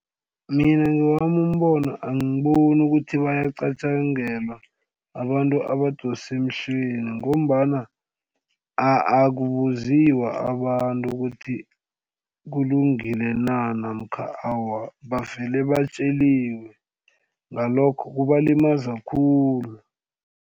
Mina ngewami umbono angiboni ukuthi bayaqatjangelwa abantu abadosa emhlweni ngombana akubuziyiwa abantu ukuthi kulungile na namkha awa, bavele batjeliwe ngalokho kubalimaza khulu.